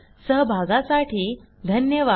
सहभागासाठी धन्यवाद